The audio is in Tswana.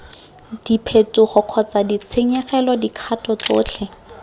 diphetogo kgotsa ditshenyegelo dikgato tsotlhe